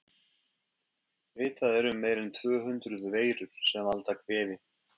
Vitað er um meira en tvö hundruð veirur sem valda kvefi.